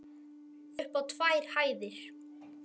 Það var upp á tvær hæðir.